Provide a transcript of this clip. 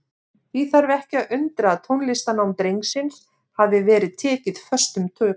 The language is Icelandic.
Því þarf ekki að undra að tónlistarnám drengsins hafi verið tekið föstum tökum.